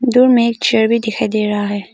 दूर में एक चेयर भी दिखाई दे रहा है।